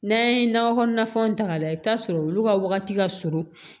N'an ye nakɔ kɔnɔna fɛnw ta k'a lajɛ i bi t'a sɔrɔ olu ka wagati ka surun